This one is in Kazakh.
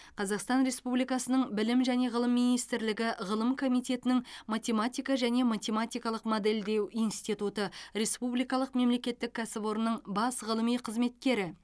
қазақстан республикасының білім және ғылым министрлігі ғылым комитетінің математика және математикалық модельдеу институты республикалық мемлекеттік кәсіпорнының бас ғылыми қызметкері